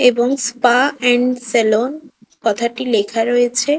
এবং spa and salon কথাটি লেখা রয়েছে।